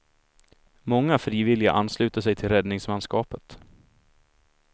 Många frivilliga ansluter sig till räddningsmanskapet.